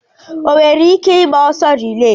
O nwere ike ịgba ọsọ rilee?